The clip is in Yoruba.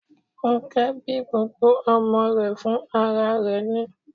Fúnnkẹ́ bí gbogbo ọmọ rẹ̀ fún ara rẹ̀ ni